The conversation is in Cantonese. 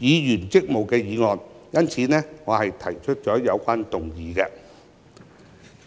議員職務的議案。因此，我提出有關議案。